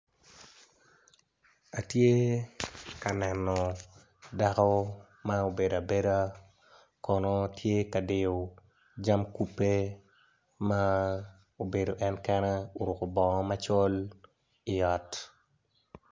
Atye ka neno dako ma obedo abeda kono tye ka diyo jam kube ma obedo en kene oruko bongo macol i ot.